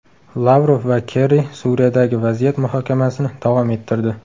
Lavrov va Kerri Suriyadagi vaziyat muhokamasini davom ettirdi.